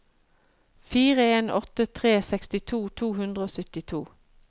fire en åtte tre sekstito to hundre og syttito